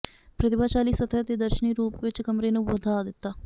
ਪ੍ਰਤਿਭਾਸ਼ਾਲੀ ਸਤਹ ਨੇ ਦਰਸ਼ਨੀ ਰੂਪ ਵਿਚ ਕਮਰੇ ਨੂੰ ਵਧਾ ਦਿੱਤਾ